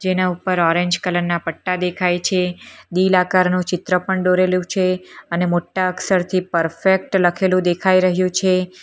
એના ઉપર orange colour ના પટ્ટા દેખાય છે દિલ આકારનો ચિત્ર પણ દોરેલું છે અને મોટા અક્ષરથી પરફેક્ટ લખેલું દેખાઈ રહ્યું છે.